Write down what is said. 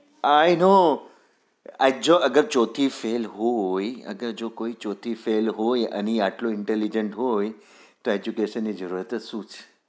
i know જો અગર ચોથી fail હોય અને જો કોઈ ચોથી fail હોય આટલો હોય તો intelligent તો education ની જરૂરત જ શું છે?